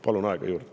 Palun aega juurde.